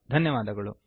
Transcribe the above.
ಧನ್ಯವಾದಗಳು